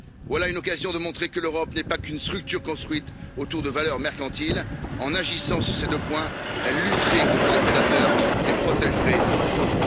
Voilà une occasion de montrer que l'Europe n'est pas qu'une structure construite autour de valeurs mercantiles. En agissant sur ces deux points, elle lutterait contre les prédateurs et protégerait nos enfants.